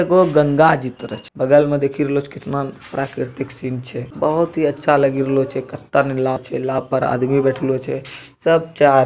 देखो गंगा जि तरफ बगल मे देखि रहलो कितना प्राकृतिक सिन छै | बहुत ही अच्छा लगी रहलो छे नाव छै नाव पर आदमी बैठालो छे | सब चार --